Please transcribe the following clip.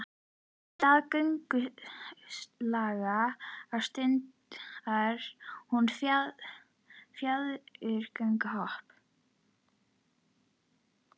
Í stað göngulags ástundar hún fjaðurmögnuð hopp.